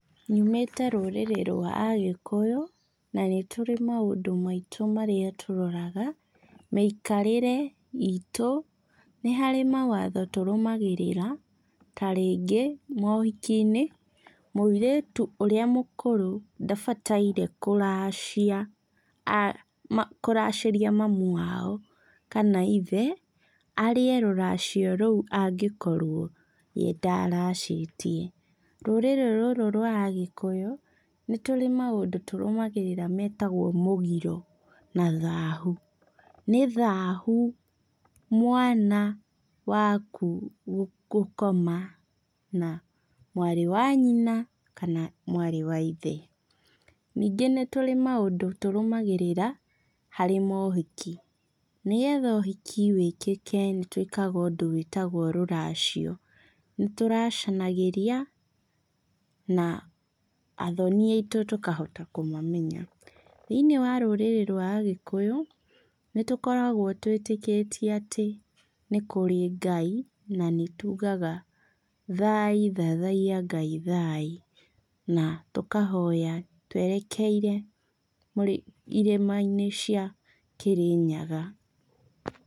Nyumĩte rũrĩrĩ rwa agĩkũyũ, na nĩtũrĩ maũndũ maitũ marĩa tũroraga, mĩikarĩre itũ, nĩharĩ mawatho tũrũmagĩrĩra, tarĩngĩ, mohikinĩ, mũirĩtu ũrĩa mũkũrũ, ndabataire kũracia, kũracĩria mami wao, kana ithe, arĩe rũracio rũu angĩkorwo wendaracĩtie. Rũrĩrĩ rũrũ rwa agĩkũyũ, nĩtũrĩ maũndũ tũrũmagĩrĩra metagwo mũgiro, na thahu. Nĩ thahu mwana waku gũkoma na mwarĩ wa nyina kana mwarĩ waithe. Nĩngĩ nĩtũrĩ maũndũ tũrũmagĩrĩra harĩ mohiki, nĩgetha ũhiki wĩkĩke nĩtũĩkaga ũndũ wĩtagwo rũracio, nĩtũracanagĩria, na athoni aitũ tũkahota kũmamenya. Thiinĩ wa rũrĩrĩ rwa agĩkũyũ, nĩtũkoragwo twĩtĩkĩtie atĩ nĩkũrĩ Ngai, na nĩtugaga thai thathaiya Ngai thai. Na tũkahoya twerekeire kũrĩ irĩmainĩ cia Kĩrĩnyaga.